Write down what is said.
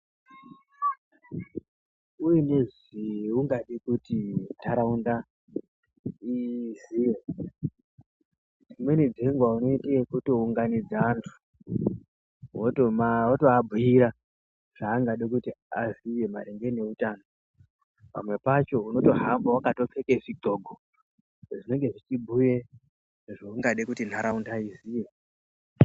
Uine zvaungada kuti ntaraunda iziye, dzimweni dzenguva unoite ekutounganidza anhu wotoabhuira zvaunoda kuti vaziye maererano neutano. Pamweni pacho unenge wakatopfeke zvigloko zvinenge zveibhuya zvaungade kuti ntaraunda iziye.